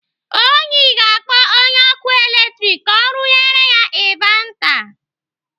Onyi ga-akpọ onye ọkụ latrik ka rụnyere ya invata.